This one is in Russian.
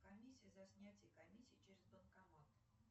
комиссия за снятие комиссии через банкомат